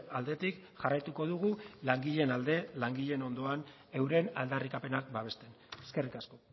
aldetik jarraituko dugu langileen alde langileen ondoan euren aldarrikapenak babesten eskerrik asko